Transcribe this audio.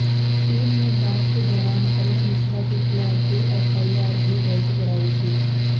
team ने जांच के दौरान अरुण मिश्रा के खिलाफ दो एफआईआर भी दर्ज करायी थी